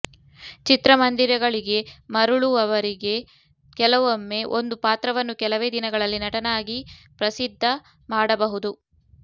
ಚಿತ್ರಮಂದಿರಗಳಿಗೆ ಮರಳುವವರೆಗೆ ಕೆಲವೊಮ್ಮೆ ಒಂದು ಪಾತ್ರವನ್ನು ಕೆಲವೇ ದಿನಗಳಲ್ಲಿ ನಟನಾಗಿ ಪ್ರಸಿದ್ಧ ಮಾಡಬಹುದು